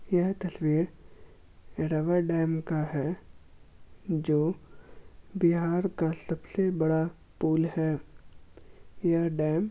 यह तस्वीर रावर डेम का है जो बिहार का सबसे बड़ा पूल है यह डेम --